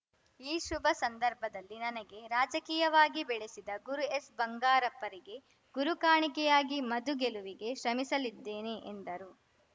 ಈ ಶುಭ ಸಂದರ್ಭದಲ್ಲಿ ನನಗೆ ರಾಜಕೀಯವಾಗಿ ಬೆಳಸಿದ ಗುರು ಎಸ್‌ಬಂಗಾರಪ್ಪಾರಿಗೆ ಗುರು ಕಾಣಿಕೆಯಾಗಿ ಮದು ಗೆಲವಿಗೆ ಶ್ರಮಿಸಲಿದ್ದೇನೆ ಎಂದರು